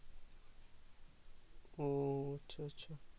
ও আচ্ছা আচ্ছা